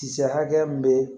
Kisɛ hakɛya min be yen